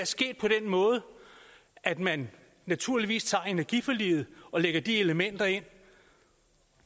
sket på den måde at man naturligvis tager energiforliget og lægger de elementer ind